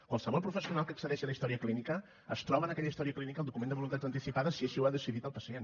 qualsevol professional que accedeixi a la història clínica es troba en aquella història clínica el document de voluntats anticipades si així ho ha decidit el pacient